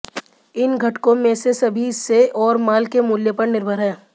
इन घटकों में से सभी से और माल के मूल्य पर निर्भर हैं